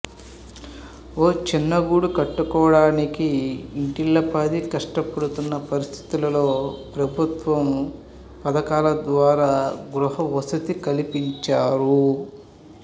ఓ చిన్నగూడు కట్టుకోడానికి ఇంటిల్లిపాదీ కష్టపడుతున్న పరిస్థితుల్లో ప్రభుత్వ పథకాల ద్వారా గృహవసతి కల్పించారు